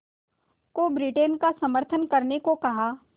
को ब्रिटेन का समर्थन करने को कहा